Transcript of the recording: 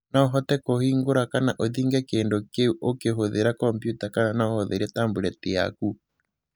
no ũhote kuhingũra kana ũthinge kĩndũ kĩũ ukihũthira kompiuta kana no ũhũthĩre tablet yakũ